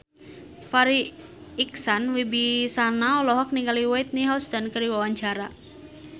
Farri Icksan Wibisana olohok ningali Whitney Houston keur diwawancara